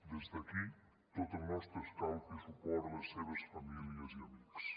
des d’aquí tot el nostre escalf i suport a les seves famílies i amics